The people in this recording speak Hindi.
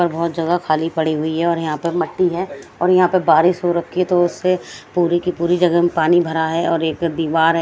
और बहोत जगह खाली पड़ी हुई है और यहां पे मिट्टी है और यहां पे बारिश हो रखी है तो उसे पूरी की पूरी जगह में पानी भरा है और एक दीवार है।